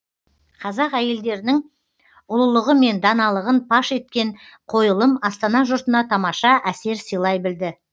қазақ әйелдерінің ұлылығы мен даналығын паш еткен қойылым астана жұртына тамаша әсер сыйлай білді